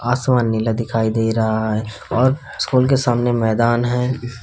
आसमान नीला दिखाई दे रहा है और स्कूल के सामने मैदान है।